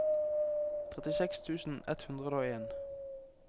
trettiseks tusen ett hundre og en